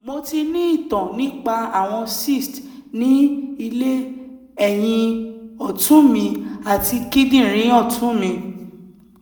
mo ti ní ìtàn nípa àwọn cysts ní ilé ẹyin ọ̀tún mi àti kíndìnrín ọ̀tún mi